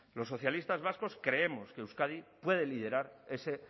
los socialistas vascos creemos que euskadi puede liderar ese